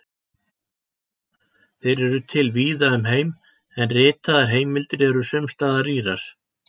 Þeir eru til víða um heim, en ritaðar heimildir eru sums staðar rýrar.